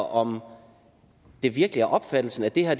om det virkelig er opfattelsen at det her